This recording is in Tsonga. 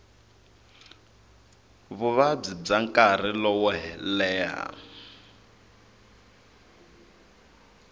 vuvabyi bya nkarhi lowo leha